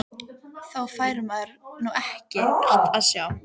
Þá fær maður nú ekkert að sjá!!